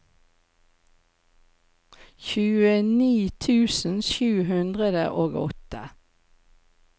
tjueni tusen sju hundre og åtte